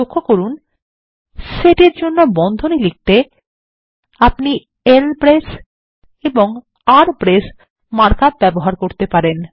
লক্ষ্য করুন সেটের জন্য বন্ধনী লিখতে আপনি ল্ব্রেস এবং আরবিরেস মার্ক আপ ব্যবহার করতে পারেন